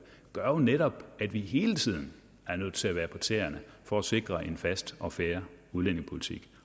gør jo netop at vi hele tiden er nødt til at være på tæerne for at sikre en fast og fair udlændingepolitik